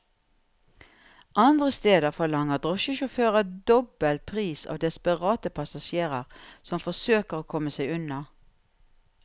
Andre steder forlanger drosjesjåfører dobbel pris av desperate passasjerer som forsøker å komme seg unna.